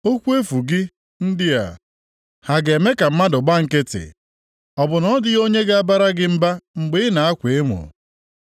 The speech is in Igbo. Okwu efu gị ndị a ha ga-eme ka mmadụ gba nkịtị? Ọ bụ na ọ dịghị onye ga-abara gị mba mgbe ị na-akwa emo?